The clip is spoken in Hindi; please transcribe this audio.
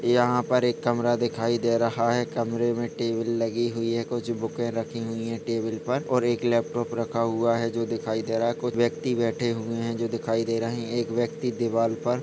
यहाँ पर एक कमरा दिखाई दे रहा है कमरे मे टी.वी . लगी हुई है कुछ बुके रखे हुए है टेबल पर और एक लैपटॉप रखा हुआ है जो दिखाई दे रहा है व्यक्ति बैठे हुए है जो दिखाई दे रहे है एक व्यक्ति दीवाल पर--